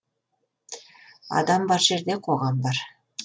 адам бар жерде қоғам бар